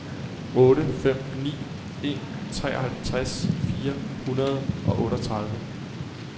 otte fem ni en treoghalvtreds fire hundrede og otteogtredive